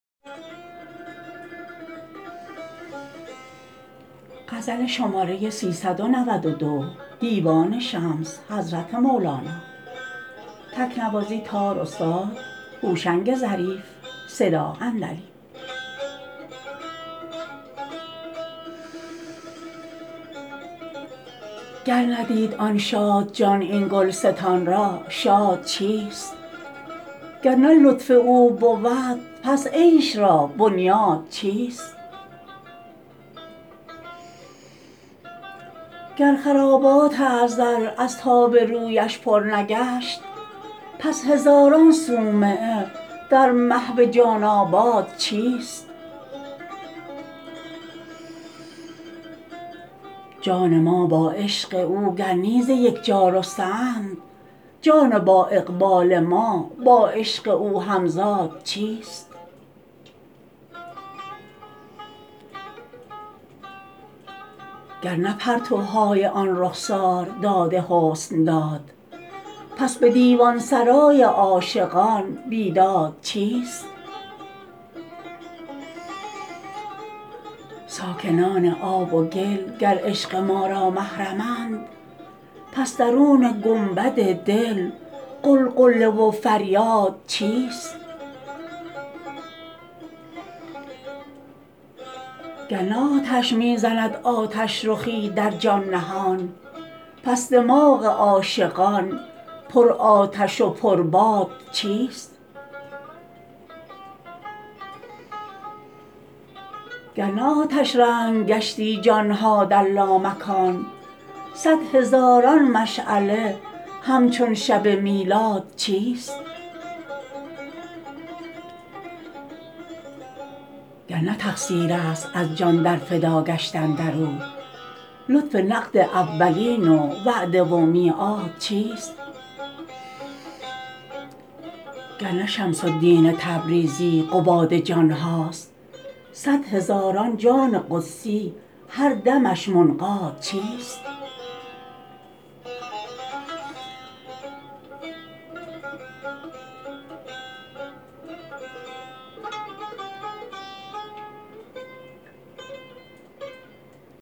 گر ندید آن شادجان این گلستان را شاد چیست گر نه لطف او بود پس عیش را بنیاد چیست گر خرابات ازل از تاب رویش پر نگشت پس هزاران صومعه در محو جان آباد چیست جان ما با عشق او گر نی ز یک جا رسته اند جان بااقبال ما با عشق او همزاد چیست گر نه پرتوهای آن رخسار داد حسن داد پس به دیوان سرای عاشقان بیداد چیست ساکنان آب و گل گر عشق ما را محرمند پس درون گنبد دل غلغله و فریاد چیست گر نه آتش می زند آتش رخی در جان نهان پس دماغ عاشقان پرآتش و پرباد چیست گر نه آتش رنگ گشتی جان ها در لامکان صد هزاران مشعله همچون شب میلاد چیست گر نه تقصیر است از جان در فدا گشتن در او لطف نقد اولین و وعده و میعاد چیست گر نه شمس الدین تبریزی قباد جان ها است صد هزاران جان قدسی هر دمش منقاد چیست